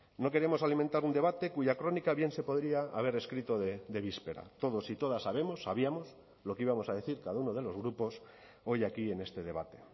no queremos alimentar un debate cuya crónica bien se podría haber escrito de víspera todos y todas sabemos sabíamos lo que íbamos a decir cada uno de los grupos hoy aquí en este debate